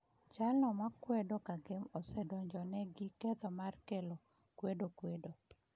Jalno ma kwedo Kagame osedonjone gi ketho mar kelo kwedo kwedo